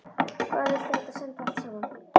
Hvar viltu að þetta endi allt saman?